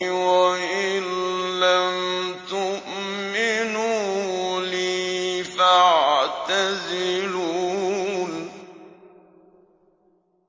وَإِن لَّمْ تُؤْمِنُوا لِي فَاعْتَزِلُونِ